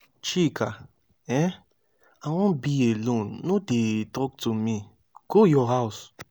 chika um i wan be alone no dey talk to me. go your house.